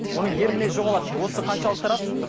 оның ер мінезі жоғалады дейді осы қаншалықты рас